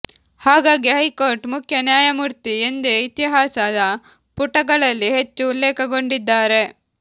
ಹಾಗಾಗಿ ಹೈಕೋರ್ಟ್ ಮುಖ್ಯ ನ್ಯಾಯಮೂರ್ತಿ ಎಂದೇ ಇತಿಹಾಸದ ಪುಟಗಳಲ್ಲಿ ಹೆಚ್ಚು ಉಲ್ಲೇಖಗೊಂಡಿದ್ದಾರೆ